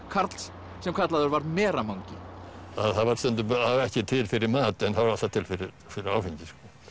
karls sem kallaður var Mera mangi það var stundum ekki til fyrir mat en það var alltaf til fyrir fyrir áfengi